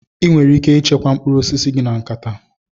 Ị nwere ike ịchekwa mkpụrụ osisi gị na nkata.